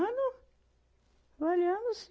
trabalhando sim.